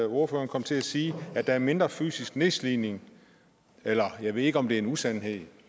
ordføreren kom til at sige at der er mindre fysisk nedslidning eller jeg ved ikke om det en usandhed